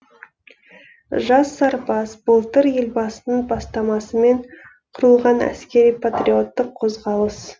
жас сарбаз былтыр елбасының бастамасымен құрылған әскери патриоттық қозғалыс